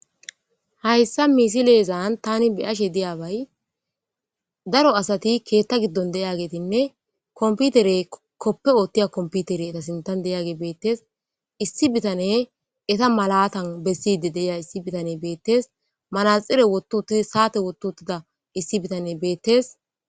hayssa misi leezan tani biyashe deyabay daro asati keetta giddon deyagetinne komputere koppe oottiya komputere eta sintan deyage beettes issi bitane eta malatan besside deiya issi bitane beettes malaxire wottu uttid saate wottu uttida issi bitane beettes